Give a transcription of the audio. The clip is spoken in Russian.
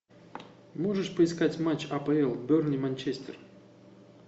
можешь поискать матч апл бернли манчестер